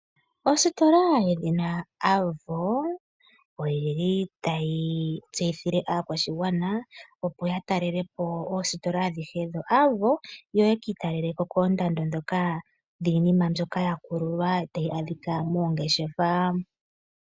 Ositola yedhina Avo otayi tseyithile aakwashigwana opo ya talele po oositola adhihe dhoAvo. Yo ya ka italelele ko koondando ndhoka dhiinima mbyoka ya kululwa, tahi adhika moongeshefa.